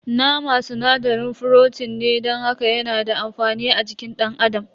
Nama sinadarin frotin ne don haka yana da amfani a jikin dan adam.